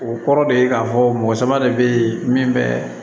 O kɔrɔ de ye k'a fɔ mɔgɔ sama de be yen min bɛ